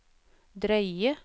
drøye